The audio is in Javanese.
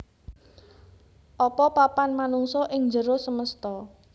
Apa papan manungsa ing njero semesta